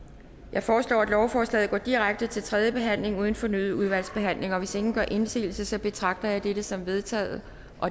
jeg foreslår at lovforslaget går direkte til tredje behandling uden fornyet udvalgsbehandling hvis ingen gør indsigelse betragter jeg dette som vedtaget